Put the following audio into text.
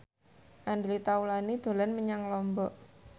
Andre Taulany dolan menyang Lombok